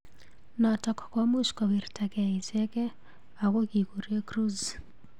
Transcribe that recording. Notok komuch kowirtakei ichekei ak ko kikure Cruise.